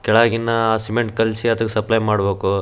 ಕೆಳಗಿನ್ನ cement ಕಳ್ಸಿ ಅದಕ್ಕೆ supply ಮಾಡಬೇಕು --